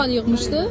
Neçə bal yığmışdı?